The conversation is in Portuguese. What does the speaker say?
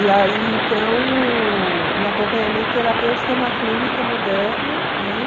E aí, então, o o acompanhamento terapêutico é uma clínica moderna, né?